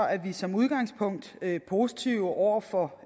er vi som udgangspunkt positive over for